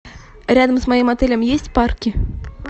рядом с моим отелем есть парки